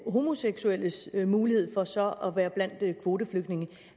homoseksuelles mulighed for så at være blandt kvoteflygtningene